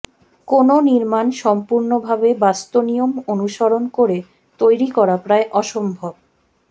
কোনও নির্মাণ সম্পুর্ণভাবে বাস্তুনিয়ম অনুসরণ করে তৈরি করা প্রায় অসম্ভব